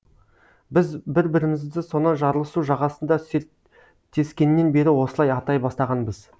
біз бір бірімізді сонау жарлысу жағасында серттескеннен бері осылай атай бастағанбыз